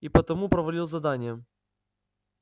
и потому провалил задание